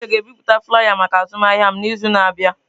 Uche ga-ebipụta flaiya maka azụmahịa m n'izu na-abịa.